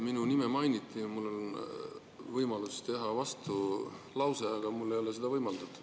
Minu nime mainiti ja mul on võimalus teha vastulause, aga mulle ei ole seda võimaldatud.